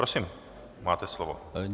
Prosím, máte slovo.